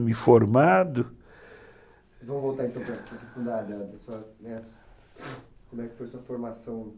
me formado... Vamos voltar então para a questão da da, né, como é que foi a sua formação.